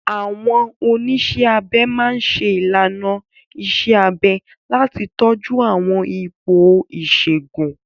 Àwọn oníṣẹ́ abẹ máa ń ṣe ìlànà iṣẹ́ abẹ láti tọ́jú àwọn ipò ìṣègùn.